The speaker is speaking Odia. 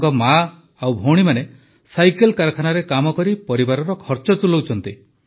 ତାଙ୍କ ମା ଓ ଭଉଣୀମାନେ ସାଇକେଲ କାରଖାନାରେ କାମ କରି ପରିବାରର ଖର୍ଚ୍ଚ ତୁଲାଉଛନ୍ତି